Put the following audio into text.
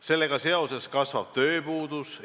Sellega seoses kasvab tööpuudus.